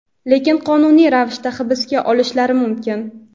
lekin qonuniy ravishda hibsga olinishlari mumkin.